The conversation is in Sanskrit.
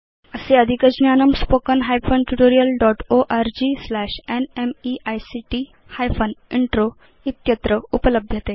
अस्य अधिकज्ञानम् spoken hyphen tutorial dot org slash NMEICT hyphen intro इत्यत्र उपलभ्यते